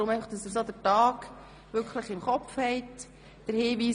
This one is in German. Daher erläutere ich kurz den Ablauf.